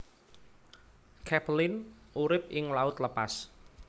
Capelin urip ing laut lepas